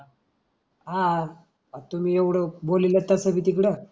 आह अं तुम्ही एवढं बोललेलं तसं बी तिकड